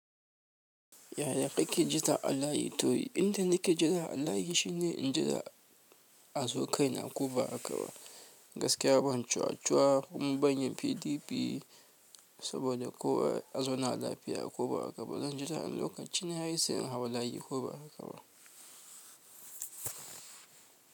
Yaya kake jin ta alayi? To inda nake jira alayi shine in jira azo kai na ko ba haka ba. Gaskiya ban cuwa cuwa kuma ban yin PDP saboda kowa azauna lafiya a ko ba haka ba. Zan jira lokaci na yayi sai in hau layi ko ba haka ba.